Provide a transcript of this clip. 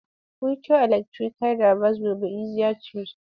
Future electrical devices will be easier to use.